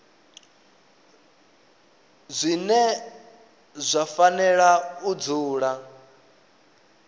zwine zwa fanela u dzula